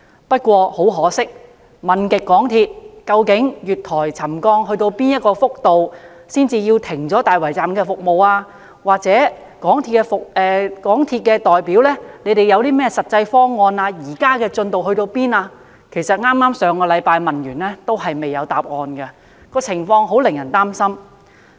不過，很可惜，即使我已多番追問港鐵公司，月台沉降至哪個幅度才要停止大圍站的服務，又問港鐵公司代表有何實際方案處理和當前的進度如何——我剛於上星期再問他們——但仍然未有答案，情況令人擔心。